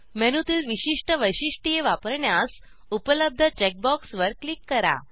मेनूतील विशिष्ट वैशिष्ट्य वापरण्यास उपलब्ध चेक बॉक्सवर क्लिक करा